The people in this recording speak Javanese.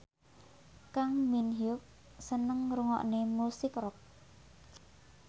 Kang Min Hyuk seneng ngrungokne musik rock